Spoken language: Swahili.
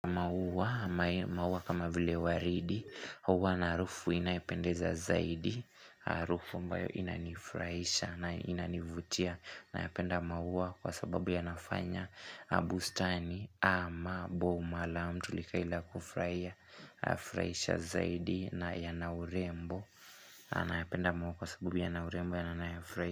Maua kama vile waridi, huwa na harufu inayependeza zaidi, harufu ambayo inanifurahisha na inanivutia. Nayapenda maua kwa sababu yanafanya bustani ama boma la mtu likae ile kufurahisha zaidi na yana urembo Nayapenda mauwa kwa sababu ya na urembo yanayofraisha.